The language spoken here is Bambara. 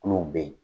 Kulo be yen